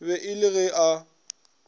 be e le ge a